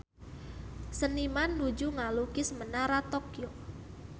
Seniman nuju ngalukis Menara Tokyo